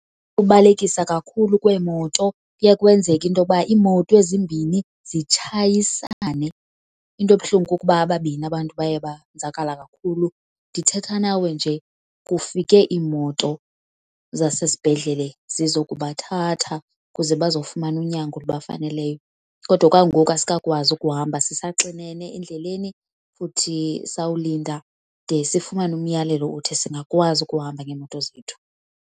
Ubalekisa kakhulu kweemoto kuye kwenzeka into yoba iimoto ezimbini zitshayisane. Into ebuhlungu kukuba ababini abantu baye banzakala kakhulu. Ndithetha nawe nje kufike iimoto zasesibhedlele zizokubathatha ukuze bazofumana unyango olubafaneleyo. Kodwa okwangoku asikakwazi ukuhamba, sisaxinene endleleni futhi sawulinda de sifumane umyalelo othi singakwazi ukuhamba ngeemoto zethu.